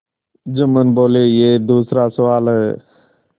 जुम्मन बोलेयह दूसरा सवाल है